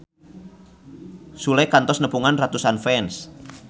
Sule kantos nepungan ratusan fans